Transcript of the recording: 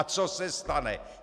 A co se stane?